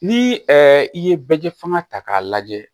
Ni i ye bɛ kɛ fanga ta k'a lajɛ